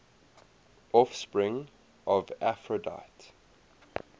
offspring of aphrodite